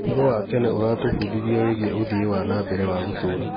ũhoro wa tene ũratũbundithia wĩgiĩ ũthii wa na mbere wa gũtũũra.